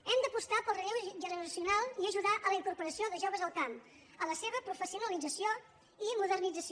hem d’apostar pel relleu generacional i ajudar a la incorporació de joves al camp a la seva professionalització i modernització